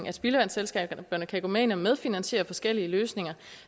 at spildevandsselskaberne kan gå med ind og medfinansiere forskellige løsninger